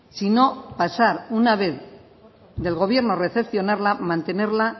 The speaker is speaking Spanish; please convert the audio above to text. sino pasar una vez del gobierno recepcionarla mantenerla